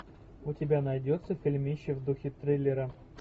у тебя найдется фильмище в духе триллера